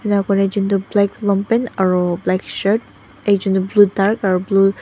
black lompan aro black shirt ekjon toh blue dark aro blue .